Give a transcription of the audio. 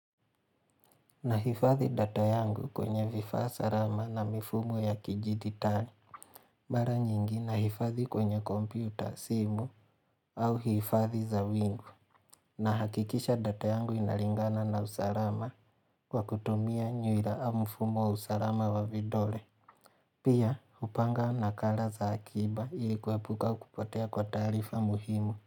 Na hifadhi data yangu kwenye vifaa salama na mifumo ya kijiditali Mara nyingi na hifadhi kwenye kompyuta, simu au hifadhi za wingu. Nahakikisha data yangu inalingana na usalama kwa kutumia nyuila au mfumo usalama wa vidole. Pia upanga nakala za akiba ilikuapuka kupotea kwa tarifa muhimu.